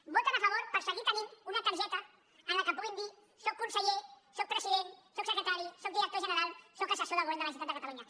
hi voten a favor per seguir tenint una targeta en la qual puguin dir sóc conseller sóc president sóc secretari sóc director general sóc assessor del govern de la generalitat de catalunya